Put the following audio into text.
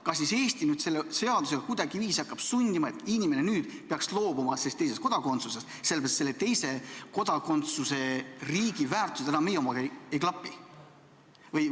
Kas siis Eesti nüüd hakkab selle seadusega kuidagiviisi sundima, et inimene peaks loobuma sellest teisest kodakondsusest sellepärast, et selle teise kodakondsuse riigi väärtused enam meie omaga ei klapi?